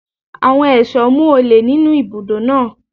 Àwọn ẹ̀ṣọ́ mú olè nínú ibùdó náà.